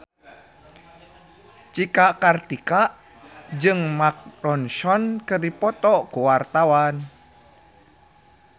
Cika Kartika jeung Mark Ronson keur dipoto ku wartawan